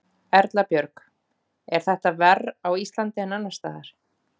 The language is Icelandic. Erla Björg: Er þetta verr á Íslandi en annars staðar?